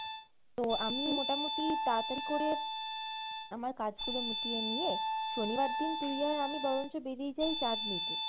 তো আমি মোটামটি তাড়াতাড়ি করে আমার কাজগুলো মিটিয়ে নিয়ে শনিবার দিন তুই আর আমি বরঞ্চ বেরিয়ে যাই চাঁদনী তে